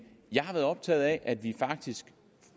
jeg har været optaget af at vi faktisk